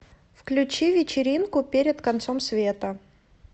включи вечеринку перед концом света